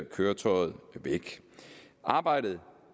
køretøjet væk arbejdet